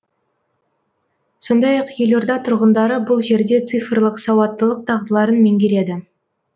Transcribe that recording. сондай ақ елорда тұрғындары бұл жерде цифрлық сауаттылық дағдыларын меңгереді